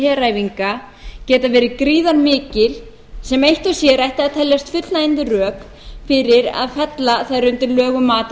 heræfinga geta verið gríðarmikil sem eitt og sér ættu að teljast fullnægjandi rök fyrir að fella þær undir lög um mat á